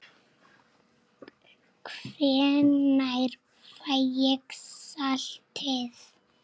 Hvenær fæ ég saltið?